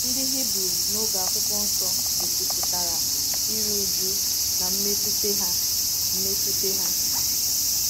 Ndị Hibru n’oge Akwụkwọ Nsọ gosipụtara iru újú na mmetụta ha. mmetụta ha.